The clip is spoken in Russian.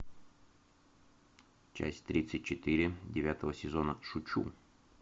часть тридцать четыре девятого сезона шучу